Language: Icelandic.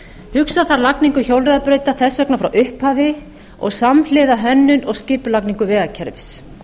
hugsa þarf lagningu hjólreiðabrauta þess vegna frá upphafi og samhliða hönnun og skipulagningu vegakerfis